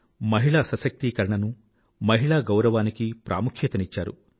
మహిళా సశక్తీకరణనూ మహిళా గౌరవానికీ ప్రాముఖ్యతనిచ్చారు